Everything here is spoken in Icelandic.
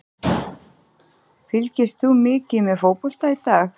Fylgist þú mikið með fótbolta í dag?